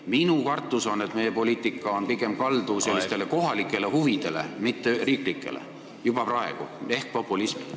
Minu kartus on, et meie poliitika on juba praegu kaldu pigem kohalike, mitte riiklike huvide, ehk populismi poole.